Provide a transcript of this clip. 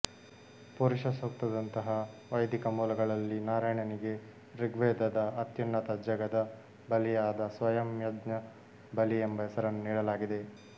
ಪುರುಷಸೂಕ್ತದಂತಹ ವೈದಿಕ ಮೂಲಗಳಲ್ಲಿ ನಾರಾಯಣನಿಗೆ ಋಗ್ವೇದದ ಅತ್ಯುನ್ನತ ಜಗದ ಬಲಿಯಾದ ಸ್ವಯಂಯಜ್ಞ ಬಲಿ ಎಂಬ ಹೆಸರನ್ನು ನೀಡಲಾಗಿದೆ